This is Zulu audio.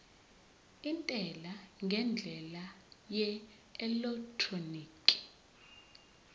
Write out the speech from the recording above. intela ngendlela yeelektroniki